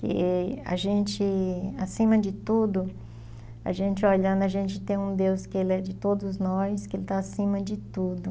E a gente, acima de tudo, a gente olhando, a gente tem um Deus que ele é de todos nós, que ele está acima de tudo.